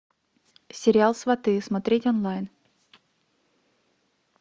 сериал сваты смотреть онлайн